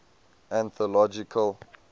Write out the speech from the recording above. anthological